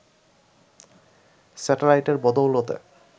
স্যাটেলাইটের বদৌলতে